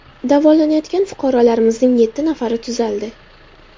Davolanayotgan fuqarolarimizning yetti nafari tuzaldi.